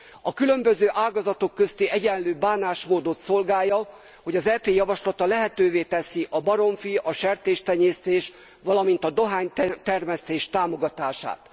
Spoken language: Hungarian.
A különböző ágazatok közti egyenlő bánásmódot szolgálja, hogy az EP javaslata lehetővé teszi a baromfi, a sertéstenyésztés, valamint a dohánytermesztés támogatását.